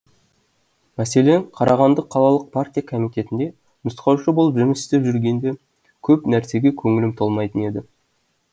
мәселен қарағанды қалалық партия комитетінде нұсқаушы болып жұмыс істеп жүргенде көп нәрсеге көңілім толмайтын еді